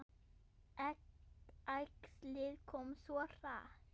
Æxlið kom svo hratt.